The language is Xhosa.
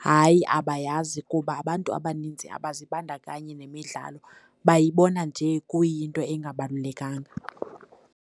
Hayi, abayazi kuba abantu abaninzi abazibandakanyi nemidlalo, bayibona nje kuyinto engabalulekanga.